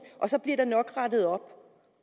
og så bliver der nok rettet op